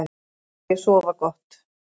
Nú skal ég sofa gott.